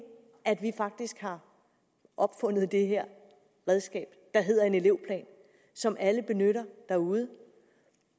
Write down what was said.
at vi faktisk har opfundet det her redskab der hedder en elevplan og som alle benytter derude